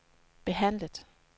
behandlet